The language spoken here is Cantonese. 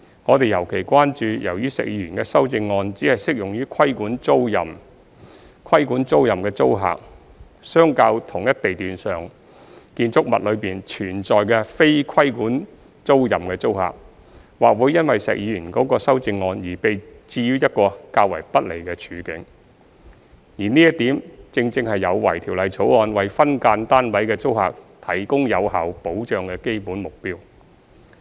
我們尤其關注，由於石議員的修正案只適用於規管租賃，規管租賃的租客，相較同一地段上的建築物內存在的非規管租賃的租客，或會因石議員的修正案而被置於一個較為不利的處境，而這點正有違《條例草案》為分間單位的租客提供有效保障的基本目標。